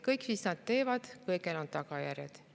Kõigel, mis nad teevad, on tagajärjed.